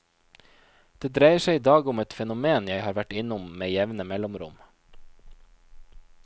Det dreier seg idag om et fenomen jeg har vært innom med jevne mellomrom.